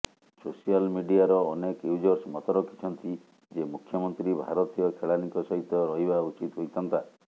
social ମିଡିଆର ଅନେକ users ମତ ରଖିଛନ୍ତି ଯେ ମୁଖ୍ୟମନ୍ତ୍ରୀ ଭାରତୀୟ ଖେଳାଳୀଙ୍କ ସହିତ ରହିବା ଉଚିତ୍ ହୋଇଥାନ୍ତା